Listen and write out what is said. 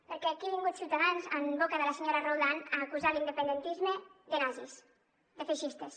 perquè aquí ha vingut ciutadans en boca de la senyora roldán a acusar l’independentisme de nazis de feixistes